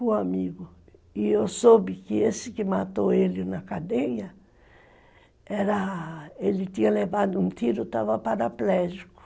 E eu soube que esse que matou ele na cadeia, era, ele tinha levado um tiro, estava paraplégico.